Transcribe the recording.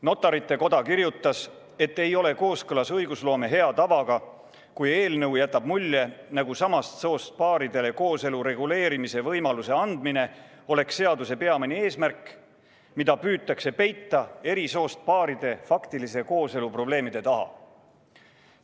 Notarite Koda kirjutas, et ei ole kooskõlas õigusloome hea tavaga, kui eelnõu jätab mulje, nagu samast soost paaridele kooselu reguleerimise võimaluse andmine oleks seaduse peamine eesmärk, mida püütakse peita eri soost paaride faktilise kooselu probleemide taha.